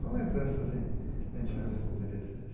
São lembranças lembranças interessantes.